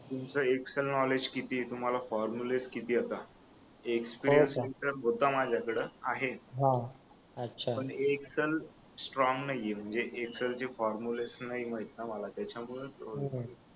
तुमचा Excel knowledge किती आहे तुम्हाला फॉर्मुलास किती येता एक्सपिरीयन्स होता माझ्याकडे आहे पण एक्सेल स्ट्रॉंग नाहीये म्हणजे एक्सेल चे फॉर्मुले नाही माहित ना मला त्याच्यामुळे